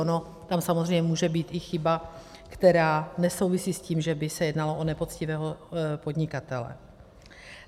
Ona tam samozřejmě může být i chyba, která nesouvisí s tím, že by se jednalo o nepoctivého podnikatele.